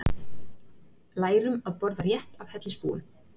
Lærum að borða rétt af hellisbúum